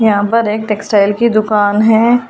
यहां पर एक टेक्सटाइल की दुकान है।